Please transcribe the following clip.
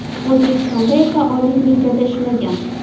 O‘zbekistonda esa Oliy ligada ishlagan.